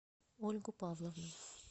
ольгу павловну